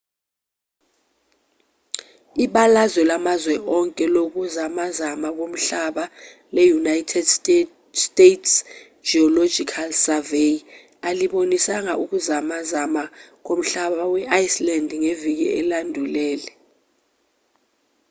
ibalazwe lamazwe onke lokuzamazama komhlaba le-united states geological survey alibonisanga ukuzamazama komhlaba e-iceland ngeviki elandulele